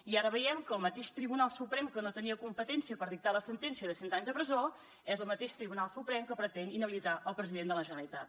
i ara veiem que el mateix tribunal suprem que no tenia competència per dictar la sentència de cent anys de presó és el mateix tribunal suprem que pretén inhabilitar el president de la generalitat